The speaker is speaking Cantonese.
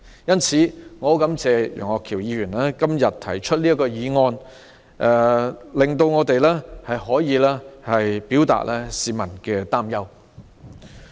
因此，我感謝楊岳橋議員提出這項議案辯論，讓我們表達市民的憂慮。